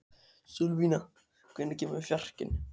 Sölvína, hvenær kemur fjarkinn?